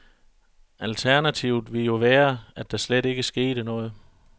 Alternativet ville jo være, at der slet ikke skete noget.